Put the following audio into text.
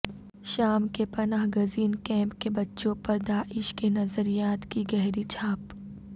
شام کے پناہ گزین کیمپ کے بچوں پر داعش کے نظریات کی گہری چھاپ